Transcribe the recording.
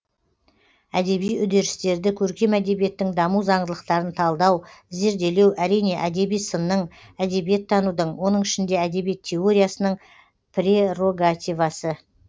әдеби үдерістерді көркем әдебиеттің даму заңдылықтарын талдау зерделеу әрине әдеби сынның әдебиеттанудың оның ішінде әдебиет теориясының прерогативасы